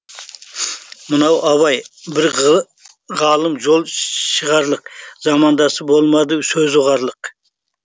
мынау абай бір ғалым жол шығарлық замандасы болмады сөзді ұғарлық